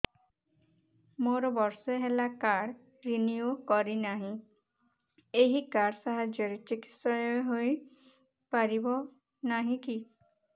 ମୋର ବର୍ଷେ ହେଲା କାର୍ଡ ରିନିଓ କରିନାହିଁ ଏହି କାର୍ଡ ସାହାଯ୍ୟରେ ଚିକିସୟା ହୈ ପାରିବନାହିଁ କି